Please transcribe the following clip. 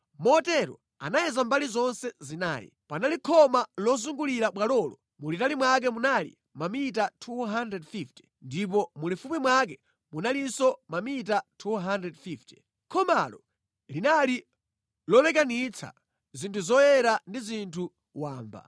Motero anayeza mbali zonse zinayi. Panali khoma lozungulira bwalolo mulitali mwake munali mamita 250 ndipo mulifupi mwake munalinso mamita 250. Khomalo linali lolekanitsa zinthu zoyera ndi zinthu wamba.